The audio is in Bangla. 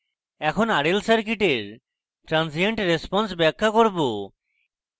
এখন rl circuit transient response ব্যাখ্যা করব